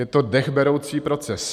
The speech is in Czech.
Je to dechberoucí proces.